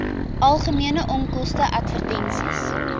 algemene onkoste advertensies